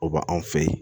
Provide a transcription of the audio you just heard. Oba anw fe yen